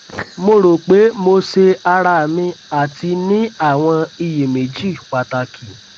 mo ro pe mo se ara mi ati ni awọn iyemeji pataki